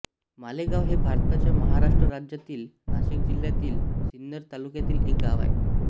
मालेगाव हे भारताच्या महाराष्ट्र राज्यातील नाशिक जिल्ह्यातील सिन्नर तालुक्यातील एक गाव आहे